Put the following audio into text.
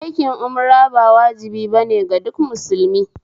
Aikin Umra ba wajibi bane ga duk musulmi